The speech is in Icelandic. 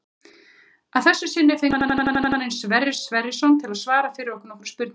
Að þessu sinni fengum við Fylkismanninn Sverrir Sverrisson til að svara fyrir okkur nokkrum spurningum.